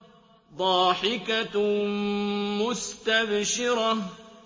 ضَاحِكَةٌ مُّسْتَبْشِرَةٌ